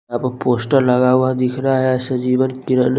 यहाँ पर पोस्टर लगा हुआ दिख रहा है एस जीवन किरन --